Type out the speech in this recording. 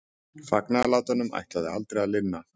Fagnaðarlátunum ætlaði aldrei að linna.